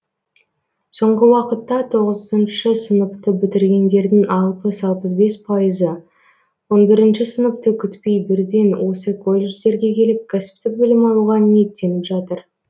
соңғы уақытта тоғызыншы сыныпты бітіргендердің алпыс алпыс бес пайызы он бірінші сыныпты күтпей бірден осы колледждерге келіп кәсіптік білім алуға ниеттеніп жатыр